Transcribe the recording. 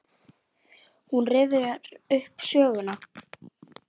Hún rifjar upp söguna.